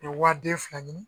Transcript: U bɛ wari den fila ɲini